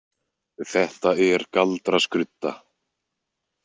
Þetta er galdraskrudda.